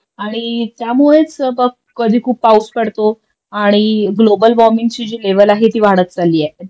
आणि त्यामुळेच कधी खूप पौष पडतो आणि ग्लोबल वॉर्मिंगची जी लेवल आहे ती वाढत चालेली आहे